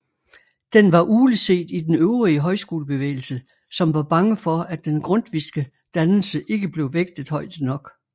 Den var ugleset i den øvrige højskolebevægelse som var bange for at den grundtvigske dannelse ikke blev vægtet højt nok